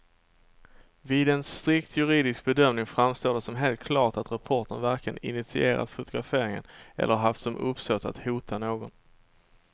Vid en strikt juridisk bedömning framstår det som helt klart att reportern varken initierat fotograferingen eller haft som uppsåt att hota någon.